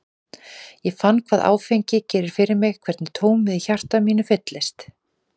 Ég fann hvað áfengi gerir fyrir mig, hvernig tómið í hjarta mínu fyllist.